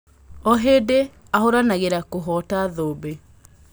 O hĩndĩ ahũranagĩra kũhota thũmbĩ.